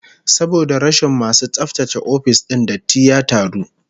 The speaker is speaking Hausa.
Saboda rashin masu tsaftace ofis din, datti ya taru